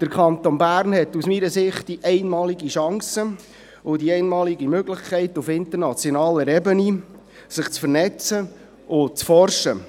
– Der Kanton Bern hat aus meiner Sicht die einmalige Chance und die einmalige Möglichkeit, sich auf internationaler Ebene zu vernetzen und zu forschen.